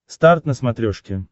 старт на смотрешке